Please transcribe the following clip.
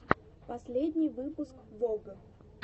последний выпуск вог